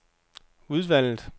udvalget